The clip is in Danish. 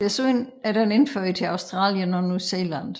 Desuden er den indført til Australien og New Zealand